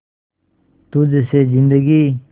तुझ से जिंदगी